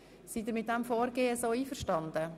Sind Sie mit diesem Vorgehen einverstanden?